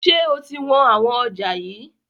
Ṣé o ti wọn àwọn ọjà yii?